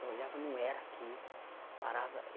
Eu olhava não era aqui.